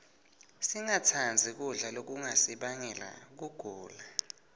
singatsandzi kudla lokungasibangela kugula